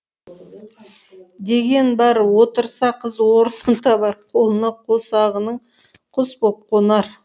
деген бар отырса қыз орнын табар қолына қосағының құс боп қонар